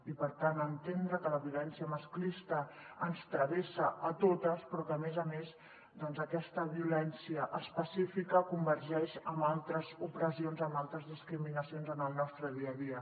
i per tant entendre que la violència masclista ens travessa a totes però que a més a més aquesta violència específica convergeix amb altres opressions en altres discriminacions en el nostre dia a dia